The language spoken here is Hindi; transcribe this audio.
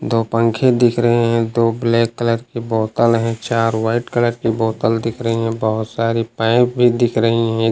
दो पखें दिख रहे हैं दो ब्लैक कलर की बोतल है चार व्हाइट कलर की बोतल दिख रही है बहुत सारी पाइप भी दिख रही हैं।